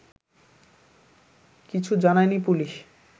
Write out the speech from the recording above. কিছু জানায়নি পুলিশ